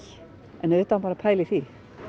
auðvitað á maður að pæla í því